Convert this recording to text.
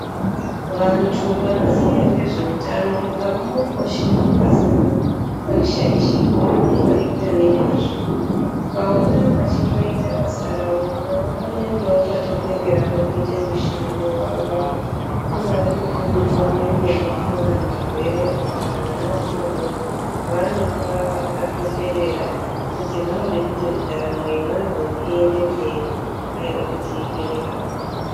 Vantu vanoziya ngezveutano avamboposhi basa ravo havarishaishi vanoriita nemazvo, ukaona vachiita basa ravo moyo wavo unenge wakatoperera pakuite mushando wavo ungave kupe mutombo yemene kuvarwere kana kuvana vadodori vanopa vakatoperera kuti vanoda kuti ndaramo yemwana uyu iyende mberi haiwa kuti iperere apapo.